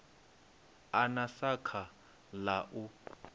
a na sakha ḽa u